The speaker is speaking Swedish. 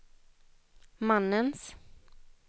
mannens